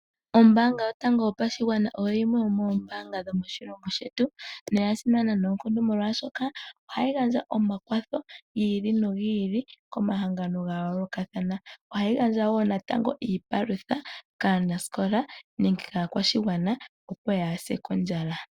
Ombaanga yotango yopashigwana oyo yimwe yomoombaanga dhomoshilongo shetu noyasimana noonkondo oshoka ohayi gandja omakwatho gi ili nogi ili komahangano ga yoolokathana. Ohayi gandja wo iipalutha kaanaskola opo kaa ya se kondjala.